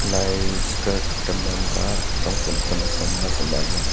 lai skirt temerem ka tsüngsem temesünga sema lir.